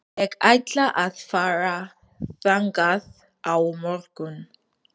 Ég ætla að fara þangað á morgun.